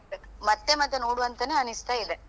ಮತ್ತೆ ಮತ್ತೆ ನೋಡುವಂತನೇ ಅನಿಸ್ತಾಇದೆ.